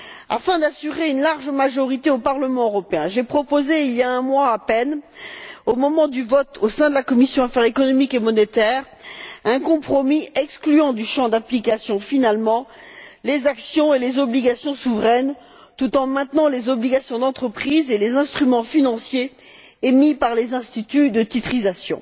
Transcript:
Afin d'assurer une large majorité au Parlement européen, j'ai proposé, il y a un mois à peine, au moment du vote au sein de la commission des affaires économiques et monétaires, un compromis excluant finalement du champ d'application les actions et les obligations souveraines, tout en maintenant les obligations d'entreprise et les instruments financiers émis par les instituts de titrisation.